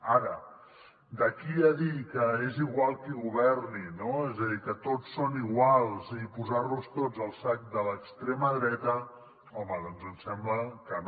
ara d’aquí a dir que és igual qui governi no és a dir que tots són iguals i posar los tots al sac de l’extrema dreta home doncs ens sembla que no